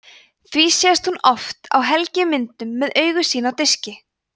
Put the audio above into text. því sést hún oft á helgimyndum með augu sín á diski